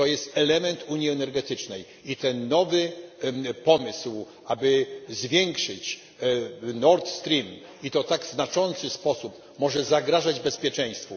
To jest element unii energetycznej i ten nowy pomysł, aby zwiększyć Nord Stream, i to w tak znaczący sposób, może zagrażać bezpieczeństwu.